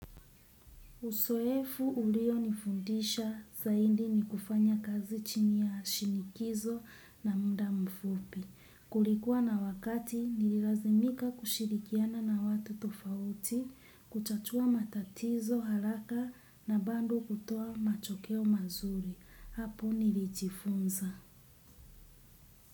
Usoefu ulio nifundisha zaindi ni kufanya kazi chini ya shinikizo na munda mfupi. Kulikuwa na wakati nililazimika kushirikiana na watu tofauti, kuchatua matatizo, haraka na bando kutoa machokeo mazuri. Hapo nilichifunza.